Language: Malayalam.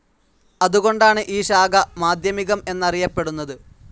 അതുകൊണ്ടാണ് ഈ ശാഖ, മാധ്യമികം എന്നറിയപ്പെടുന്നത്.